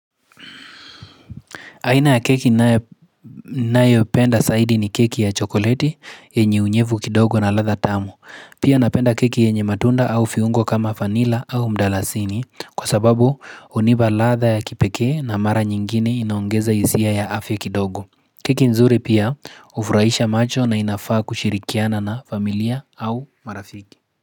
Aina ya keki ninayo ninayopenda saidi ni keki ya chokoleti yenye unyevu kidogo na ladha tamu. Pia napenda keki yenye matunda au fiungo kama vanila au mdalasini kwa sababu huniba ladha ya kipekee na mara nyingine inaongeza hisia ya afya kidogo. Keki nzuri pia hufurahisha macho na inafaa kushirikiana na familia au marafiki.